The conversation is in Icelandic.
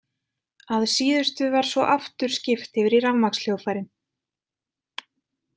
Að síðustu var svo aftur skipt yfir í rafmagnshljóðfærin.